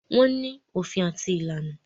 Wọ́n ní òfin àti ìlànà.